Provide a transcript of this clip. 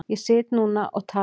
Ég sit núna og tala þar.